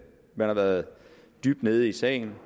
man har været dybt nede i sagen